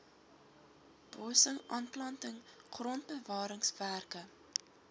bossing aanplanting grondbewaringswerke